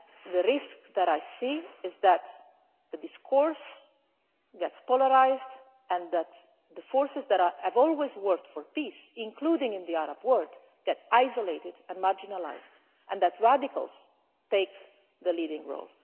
The risk that I see is that the discourse gets polarised and that the forces that have always worked for peace, including in the Arab world, get isolated and marginalised, and that radicals take the leading role.